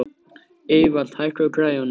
Evald, hækkaðu í græjunum.